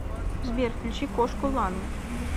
сбер включи кошку лану